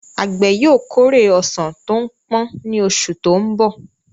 Àgbẹ̀ yóò kórè ọsàn tó pọ́n ní oṣù tó ń bọ̀.